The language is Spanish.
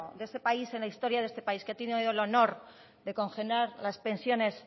de este país en la historia de este país que ha tenido el honor de congelar las pensiones